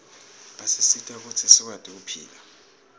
asisita kutsi sikwati kuphila